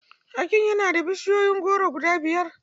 Akin yana da bishiyun goro guda biyar.